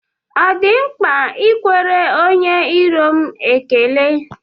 Ọ di mkpa ịkwere onye iro m ekele?